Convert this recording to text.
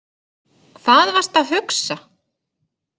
Hvað varstu að hugsa?